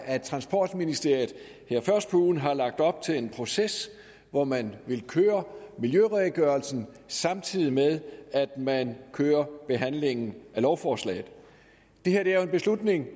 at transportministeriet her først på ugen har lagt op til en proces hvor man vil køre miljøredegørelsen samtidig med at man kører behandlingen af lovforslaget det her er jo en beslutning